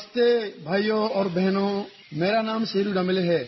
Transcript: नमस्ते भाइयो और बहनों मेरा नाम सेदू देमबेले है